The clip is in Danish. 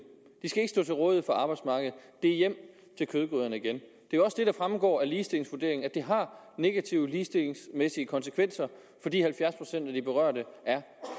de skal ikke stå til rådighed for arbejdsmarkedet det er hjem til kødgryderne igen det fremgår også af ligestillingsvurderingen at det har negative ligestillingsmæssige konsekvenser fordi halvfjerds procent af de berørte er